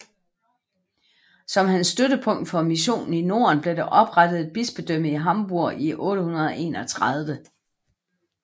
Som hans støttepunkt for missionen i Norden blev der oprettet et bispedømme i Hamburg i 831